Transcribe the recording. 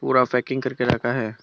पूरा पैकिंग करके रखा है।